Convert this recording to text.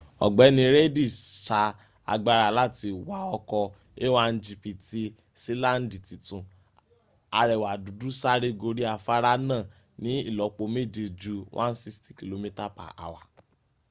ogbeni reidi sa agbara lati wa oko a1gp ti silandi titun arewa dudu sare gori afara naa ni ilopo meje ju 160km/h